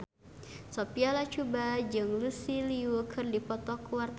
Sophia Latjuba jeung Lucy Liu keur dipoto ku wartawan